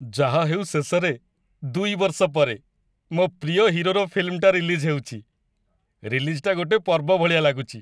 ଯାହା ହେଉ ଶେଷରେ, ଦୁଇ ବର୍ଷ ପରେ, ମୋ' ପ୍ରିୟ ହିରୋର ଫିଲ୍ମଟା ରିଲିଜ୍ ହେଉଚି, ରିଲିଜ୍‌ଟା ଗୋଟେ ପର୍ବ ଭଳିଆ ଲାଗୁଚି ।